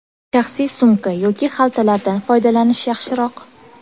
Shaxsiy sumka yoki xaltalardan foydalanish yaxshiroq.